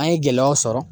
An ye gɛlɛyaw sɔrɔ